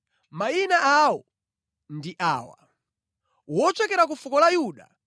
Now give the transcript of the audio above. Mayina awo ndi awa: Kalebe mwana wa Yefune, wochokera ku fuko la Yuda,